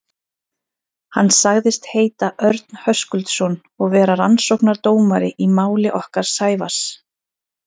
Hann sagðist heita Örn Höskuldsson og vera rannsóknardómari í máli okkar Sævars.